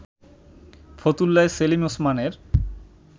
ফতুল্লায় সেলিম ওসমানের